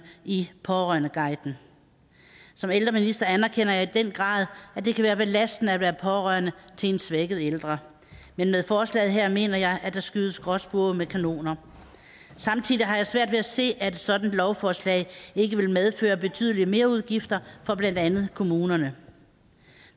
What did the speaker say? i pårørendeguiden som ældreminister anerkender jeg i den grad at det kan være belastende at være pårørende til en svækket ældre men med forslaget her mener jeg at der skydes gråspurve med kanoner samtidig har jeg svært ved at se at et sådant lovforslag ikke vil medføre betydelige merudgifter for blandt andet kommunerne